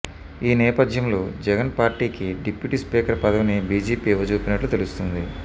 ఈ నేపథ్యంలో జగన్ పార్టీకి డిప్యూటీ స్పీకర్ పదవిని బీజేపీ ఇవ్వజూపినట్లు తెలుస్తోంది